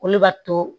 Olu b'a to